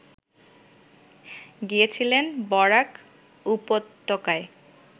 গিয়েছিলেন বরাক উপত্যকায়